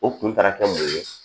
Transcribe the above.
O kun taara kɛ mun ye